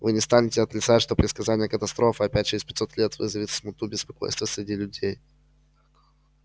вы не станете отрицать что предсказание катастрофы опять через пятьсот лет вызовет смуту беспокойство среди людей